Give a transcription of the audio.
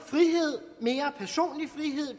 frihed